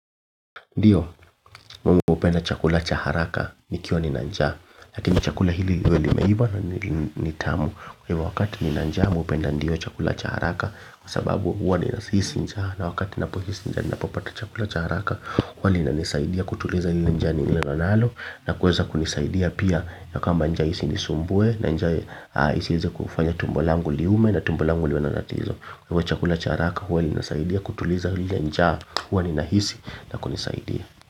Ndiyo, mimi hupenda chakula cha haraka, nikiwa nina njaa. Lakini chakula hili uwe limeiva na nitamu. Kwa wakati nina njaa, mimi hupenda ndiyo chakula cha haraka. Kwa sababu huwa ninahisi njaa. Na wakati ninapohisi njaa, ninapopata chakula cha haraka. Kwani inanisaidia kutuliza hili njaa nililo nalo. Na kuweza kunisaidia pia ya kwamba njaa isinisumbuwe. Na njsa isiweze kufanya tumbo langu liume na tumbo langu liwe na tatizo. Kwa hiyo chakula cha haraka, huwa linasaidia kutuliza lile njaa. Huwa ninahisi na kunisaidia.